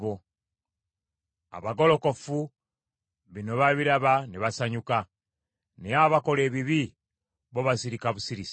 Abagolokofu, bino babiraba ne basanyuka; naye abakola ebibi bo basirika busirisi.